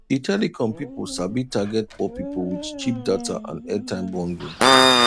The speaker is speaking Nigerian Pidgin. the telecom people sabi target poor people with cheap data and airtime bundle